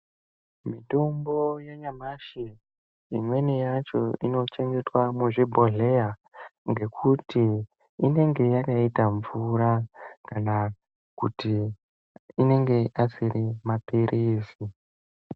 Mitombo yanyamashi, imweni yacho inochengetwa muzvibhodhleya, ngekuti inenge yakaita mvura kana kuti inenge asiri maphirizi.